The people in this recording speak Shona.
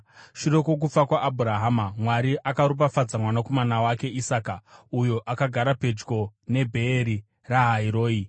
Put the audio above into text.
Shure kwokufa kwaAbhurahama, Mwari akaropafadza mwanakomana wake Isaka, uyo akagara pedyo neBheeri Rahai Roi.